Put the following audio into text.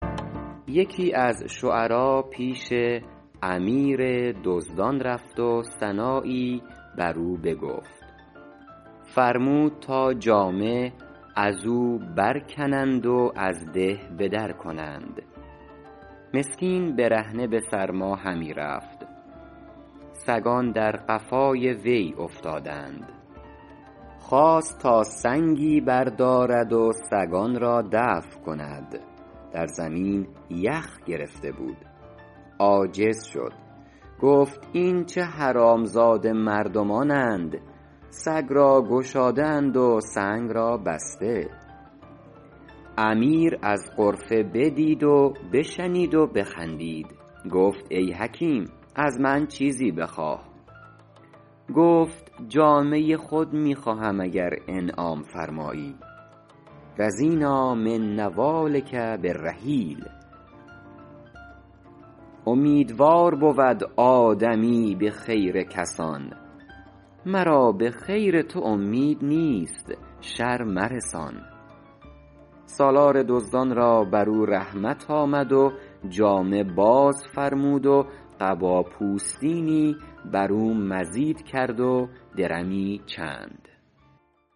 یکی از شعرا پیش امیر دزدان رفت و ثنایی بر او بگفت فرمود تا جامه از او برکنند و از ده به در کنند مسکین برهنه به سرما همی رفت سگان در قفای وی افتادند خواست تا سنگی بردارد و سگان را دفع کند در زمین یخ گرفته بود عاجز شد گفت این چه حرامزاده مردمانند سگ را گشاده اند و سنگ را بسته امیر از غرفه بدید و بشنید و بخندید گفت ای حکیم از من چیزی بخواه گفت جامه خود می خواهم اگر انعام فرمایی رضینٰا من نوالک بالرحیل امیدوار بود آدمی به خیر کسان مرا به خیر تو امید نیست شر مرسان سالار دزدان را بر او رحمت آمد و جامه باز فرمود و قبا پوستینی بر او مزید کرد و درمی چند